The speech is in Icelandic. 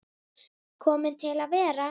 Kominn til að vera.